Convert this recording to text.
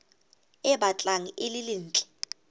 e batlang e le ntle